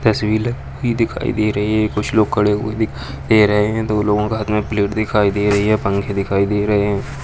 तस्वीर भी दिखाई दे रही कुछ लोग खड़े हुए दिखाई दे रहे हैं दो लोगों का प्लेट दिखाई दे रही है पंखें दिखाई दे रहे हैं।